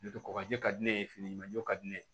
kɔkɔji ka di ne ye finikala ne